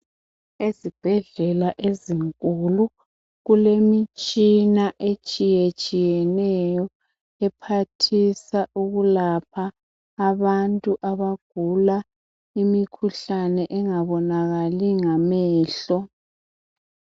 Ezibhedlela ezinkulu, kulemitshina etshiyetshiyeneyo, ephathisa ukulapha abantu abagula imikhuhlane engabonakali ngamehlo.